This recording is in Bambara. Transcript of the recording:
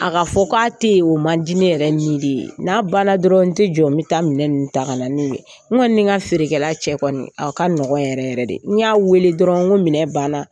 A ka fɔ k'a tɛ ye o man di ne yɛrɛ nin de ye n'a ban na dɔrɔn n tɛ jɔ n bɛ taa minɛn ninnu ta ka na n'u ye n kɔni ni n ka feerekɛla cɛ kɔni a ka nɔgɔn yɛrɛ yɛrɛ de n y'a weele dɔrɔn ko minɛ ban na.